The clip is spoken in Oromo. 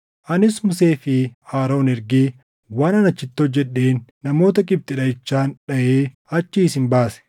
“ ‘Anis Musee fi Aroon ergee waanan achitti hojjedheen namoota Gibxi dhaʼichaan dhaʼee achii isin baase.